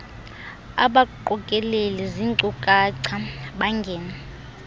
abaqokeleli zinkcukacha bangene